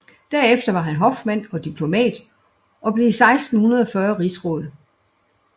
Derefter var han hofmand og diplomat og blev 1640 rigsråd